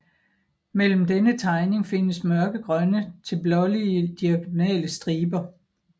Mellem denne tegning findes mørkegrønne til blålige diagonale striber